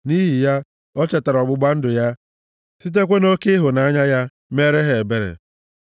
nʼihi ha, o chetara ọgbụgba ndụ ya, sitekwa nʼoke ịhụnanya ya, meere ha ebere.